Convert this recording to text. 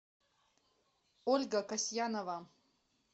ольга касьянова